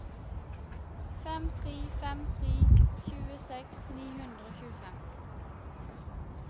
fem tre fem tre tjueseks ni hundre og tjuefem